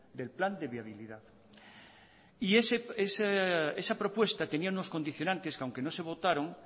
del plan de viabilidad y esa propuesta tenía unos condicionantes que aunque no se votaron